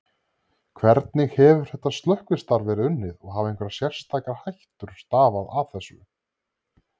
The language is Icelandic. Hvernig hefur þetta slökkvistarf verið unnið og hafa einhverjar sérstakar hættur stafað af þessu?